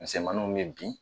Mɛmanw bɛ bin